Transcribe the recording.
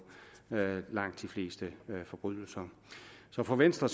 langt de fleste forbrydelser så for venstre